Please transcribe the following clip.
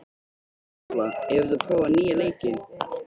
Kapitola, hefur þú prófað nýja leikinn?